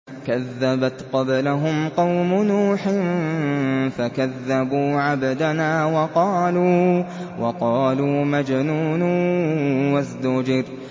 ۞ كَذَّبَتْ قَبْلَهُمْ قَوْمُ نُوحٍ فَكَذَّبُوا عَبْدَنَا وَقَالُوا مَجْنُونٌ وَازْدُجِرَ